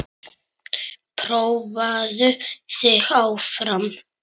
Prófaðu þig áfram.